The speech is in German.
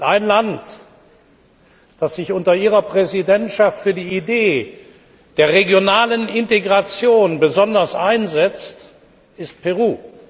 Ein Land, das sich unter Ihrer Präsidentschaft für die Idee der regionalen Integration besonders einsetzt, ist Peru.